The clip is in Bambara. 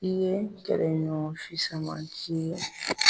I ye kɛlɛ ɲɔgɔn fisamanci ye.